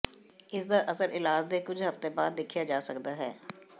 ਇਸ ਦਾ ਅਸਰ ਇਲਾਜ ਦੇ ਕੁਝ ਹਫ਼ਤੇ ਬਾਅਦ ਦੇਖਿਆ ਜਾ ਸਕਦਾ ਹੈ